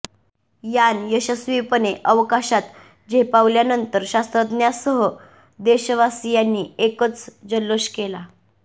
यान यशस्वीपणे अवकाशात झेपावल्यानंतर शास्त्रज्ज्ञांसह देशवासियांनी एकच जल्लोष केला